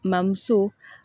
Mamuso